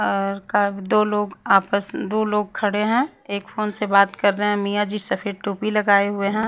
और का दो लोग आपस दो लोग खड़े हैं एक फोन से बात कर रहे हैं मिया जी सफेद टोपी लगाए हुए हैं।